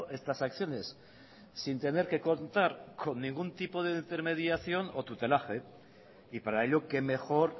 estas acciones sin tener que contar con ningún tipo de intermediación o tutelaje y para ello qué mejor